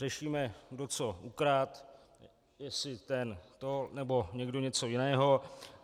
Řešíme, kdo co ukradl, jestli ten to, nebo někdo něco jiného.